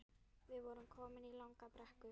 Við vorum komin í langa brekku